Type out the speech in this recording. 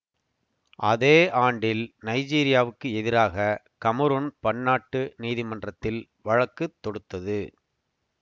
அதே ஆண்டில் நைஜீரியாவுக்கு எதிராக கமரூன் பன்னாட்டு நீதிமன்றத்தில் வழக்கு தொடுத்தது